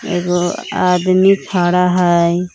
एगो आदमी खड़ा हइ।